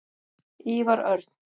Ívar Örn.